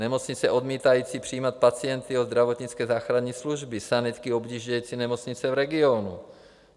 Nemocnice odmítající přijímat pacienty od zdravotnické záchranné služby, sanitky objíždějící nemocnice v regionu.